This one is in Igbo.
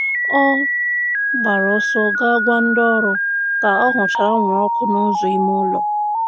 Ọ gbara ọsọ ga gwa ndị ọrụ ka ọ hụchara anwụrụ ọkụ n'ụzọ ime ụlọ.